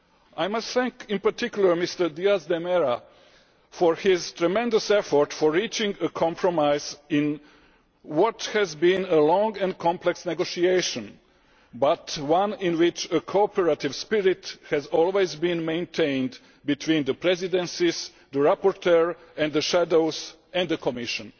I must thank in particular Mr Díaz de Mera for his tremendous effort in reaching a compromise, in what has been a long and complex negotiation, but one in which a cooperative spirit has always been maintained between the presidencies, the rapporteur and the shadows, and the Commission.